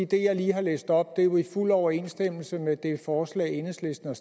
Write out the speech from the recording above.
det jeg lige har læst op er jo i fuld overensstemmelse med det forslag enhedslisten